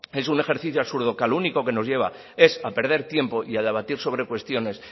es un ejercicio absurdo que a lo único que nos lleva es a perder tiempo y a debatir sobre cuestiones